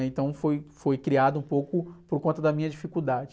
Então foi, foi criado um pouco por conta da minha dificuldade.